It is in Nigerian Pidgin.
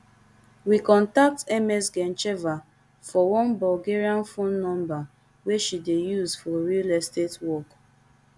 we contact ms gencheva for one bulgarian phone number wey she dey use for real estate work